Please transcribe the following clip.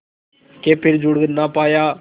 के फिर जुड़ ना पाया